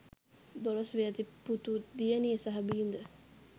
දොළොස් වියැති පුතු දියණිය සහ බිරිද